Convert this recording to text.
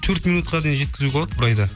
төрт минутқа дейін жеткізуге болады бір айда